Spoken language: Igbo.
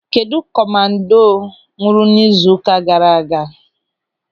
Kedụ komando nwụrụ n'izu ụka gaara aga?